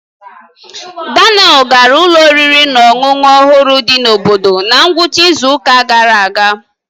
Daniel gara ụlọ oriri na ọṅụṅụ ọhụrụ dị n'obodo na ngwụcha izu ụka gara aga.